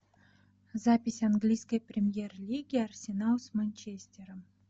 запись английской премьер лиги арсенал с манчестером